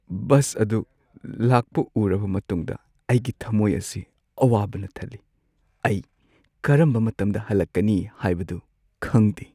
Bus ꯑꯗꯨ ꯂꯥꯛꯄ ꯎꯔꯕ ꯃꯇꯨꯡꯗ ꯑꯩꯒꯤ ꯊꯝꯃꯣꯏ ꯑꯁꯤ ꯑꯋꯥꯕꯅ ꯊꯜꯂꯤ꯫ ꯑꯩ ꯀꯔꯝꯕ ꯃꯇꯝꯗ ꯍꯜꯂꯛꯀꯅꯤ ꯍꯥꯏꯕꯗꯨ ꯈꯪꯗꯦ꯫